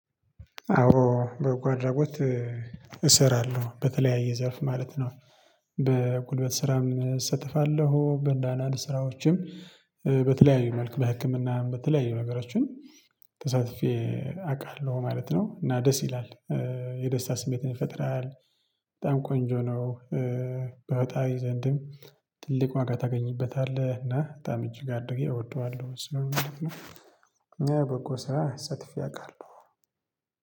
አዎ በጎ አድራጎት እሰራለሁ በተለያየ ዘርፍ ማለት ነው። በጉልበት ስራም እሰተፋለሁ በንዳናድ ስራዎችም በተለያዩ መልኩ በህክምናም በተለያዩ ነገሮችን ተሳትፌ አውቃለሁ ማለት ነው። እና ደስ ይላል የደስታ ስሜትን ይፈጥራል ቆንጆ ነው። በፈጣሪ ዘንድም ትልቅ ዋጋ ታገኝበታለህ እና በጣም እጅግ አድርጌ እወደዋለሁ ስለሆነ። ነው በጎ ስራ ተሳትፌ ያውቃሉ